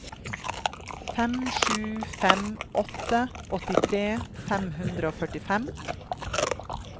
fem sju fem åtte åttitre fem hundre og førtifem